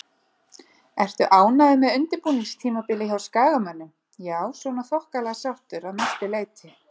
Ertu ánægður með undirbúningstímabilið hjá Skagamönnum? Já svona þokkalega sáttur að mestu leiti.